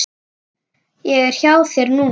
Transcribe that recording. Ég er hjá þér núna.